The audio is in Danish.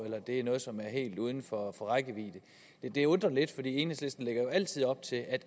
eller er noget som er helt uden for rækkevidde det undrer lidt for enhedslisten lægger jo altid op til at